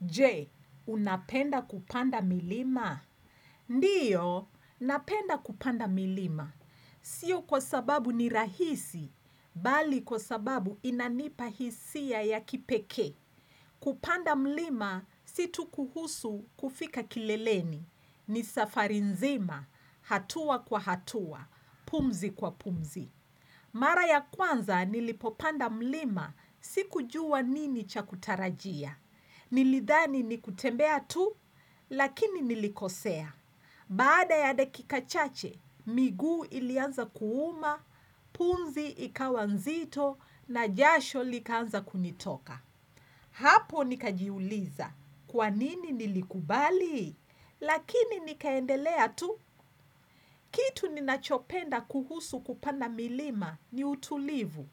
Je, unapenda kupanda milima? Ndiyo, napenda kupanda milima. Sio kwa sababu ni rahisi, bali kwa sababu inanipa hisia ya kipekee. Kupanda milima, si tu kuhusu kufika kileleni. Ni safari nzima, hatua kwa hatua, pumzi kwa pumzi. Mara ya kwanza, nilipopanda mlima, sikujua nini cha kutarajia. Nilidhani ni kutembea tu, lakini nilikosea. Baada ya dakika chache, miguu ilianza kuuma, punzi ikawa nzito na jasho likaanza kunitoka. Hapo nikajiuliza, kwanini nilikubali? Lakini nikaendelea tu. Kitu ninachopenda kuhusu kupanda milima ni utulivu.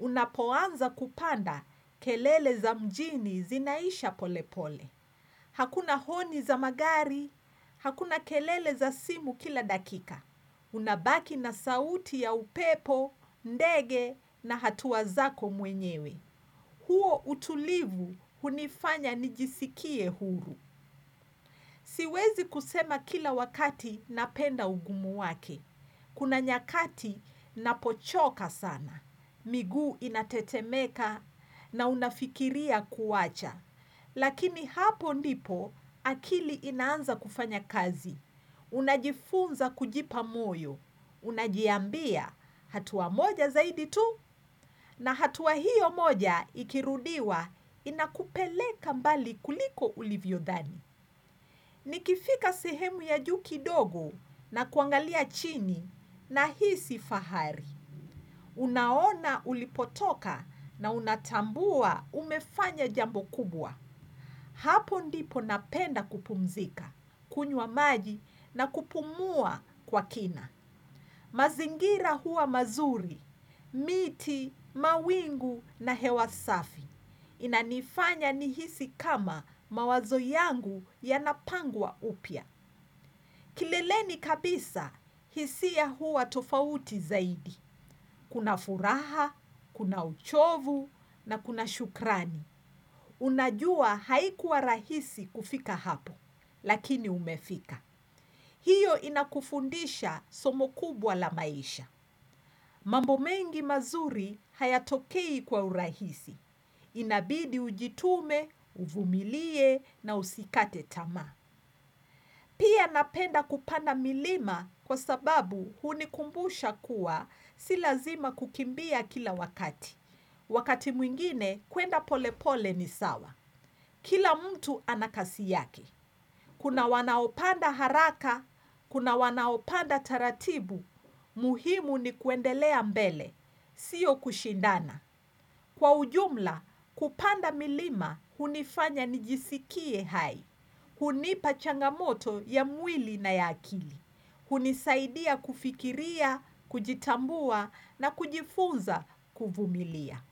Unapoanza kupanda kelele za mjini zinaisha polepole. Hakuna honi za magari, hakuna kelele za simu kila dakika. Unabaki na sauti ya upepo, ndege na hatua zako mwenyewe. Huo utulivu hunifanya nijisikie huru. Siwezi kusema kila wakati napenda ugumu wake. Kuna nyakati napochoka sana. Miguu inatetemeka, na unafikiria kuacha. Lakini hapo ndipo akili inaanza kufanya kazi. Unajifunza kujipa moyo. Unajiambia hatua moja zaidi tu, na hatua hiyo moja ikirudiwa inakupeleka mbali kuliko ulivyodhani. Nikifika sehemu ya juu kidogo na kuangalia chini nahisi fahari. Unaona ulipotoka na unatambua umefanya jambo kubwa. Hapo ndipo napenda kupumzika, kunywa maji na kupumua kwa kina. Mazingira huwa mazuri, miti, mawingu na hewa safi. Inanifanya nihisi kama mawazo yangu yanapangwa upya. Kileleni kabisa hisia huwa tofauti zaidi. Kuna furaha, kuna uchovu na kuna shukrani. Unajua haikuwa rahisi kufika hapo, lakini umefika. Hiyo inakufundisha somo kubwa la maisha. Mambo mengi mazuri hayatokei kwa urahisi. Inabidi ujitume, uvumilie na usikate tamaa. Pia napenda kupanda milima kwa sababu hunikumbusha kuwa si lazima kukimbia kila wakati. Wakati mwingine, kuenda polepole ni sawa. Kila mtu ana kasi yake. Kuna wanaopanda haraka, kuna wanaopanda taratibu, muhimu ni kuendelea mbele, siyo kushindana. Kwa ujumla, kupanda milima, hunifanya nijisikie hai. Hunipa changamoto ya mwili na ya akili. Hunisaidia kufikiria, kujitambua na kujifunza kuvumilia.